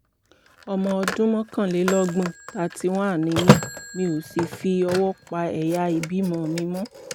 ọmọ ọdún mọ́kànlélọ́gbọ̀n thirty one ni mí mi ò sì fi ọwọ́ pa ẹ̀yà ìbímọ mi mọ́